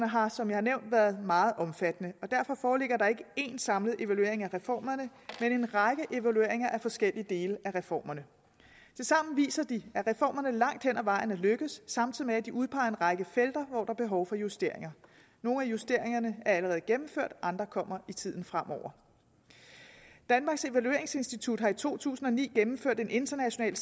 har som jeg har nævnt været meget omfattende og derfor foreligger der ikke en samlet evaluering af reformerne men en række evalueringer af forskellige dele af reformerne tilsammen viser de at reformerne langt hen ad vejen er lykkedes samtidig med at de udpeger en række felter hvor der er behov for justeringer nogle af justeringerne er allerede gennemført og andre kommer i tiden fremover danmarks evalueringsinstitut har i to tusind og ni gennemført en international